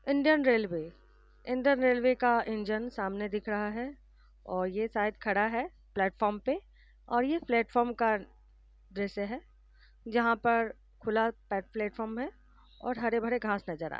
Engine railway engine railway का engine सामने दिख रहा है और यह शायद खड़ा है प्लेटफॉर्म पे और यह प्लेटफॉर्म का दृश्य है जहा पर खुला प्लेटफार्म है और हरे-भरे घास नजर आ रहे है।